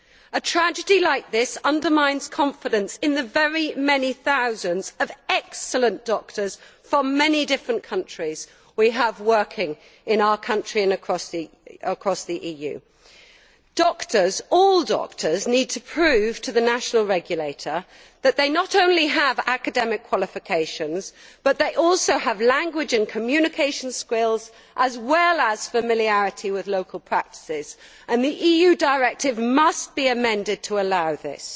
A tragedy like this undermines confidence in the very many thousands of excellent doctors from many different countries we have working in our country and across the EU. All doctors need to prove to the national regulator that they have not only academic qualifications but also have language and communications skills, as well as familiarity with local practices, and the EU directive must be amended to allow this.